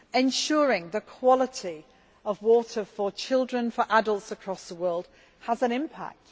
Ensuring the quality of water for children and for adults across the world has an impact.